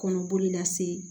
Kɔnɔboli lase